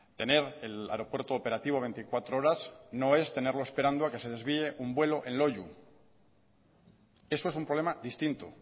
tener el aeropuerto operativo veinticuatro horas no es tenerlo esperando a que se desvíe un vuelo en loiu eso es un problema distinto